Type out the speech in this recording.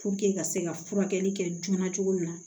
ka se ka furakɛli kɛ joona cogo min na